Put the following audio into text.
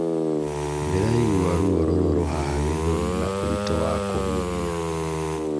Ndĩraigua ruo rũrurũ haha gĩthũri na ũritũ wa kũhuhia